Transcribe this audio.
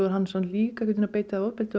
hann sé líka að beita þig ofbeldi